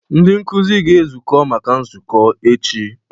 Ndị nkuzi ga-ezukọ maka nzukọ echi.